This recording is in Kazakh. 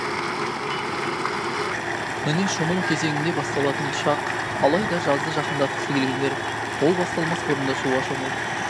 міне шомылу кезеңі де басталатын шақ алайда жазды жақындатқысы келгендер ол басталмас бұрын да суға шомылып